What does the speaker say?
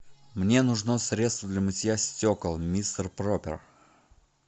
мне нужно средство для мытья стекол мистер пропер